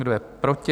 Kdo je proti?